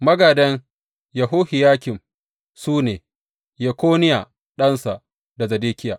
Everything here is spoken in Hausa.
Magādan Yehohiyakim su ne, Yekoniya ɗansa, da Zedekiya.